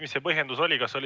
Mis see põhjendus oli?